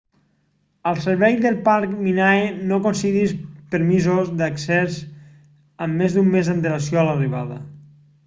el servei del parc minae no concedeix permisos d'accés amb més d'un mes d'antelació a l'arribada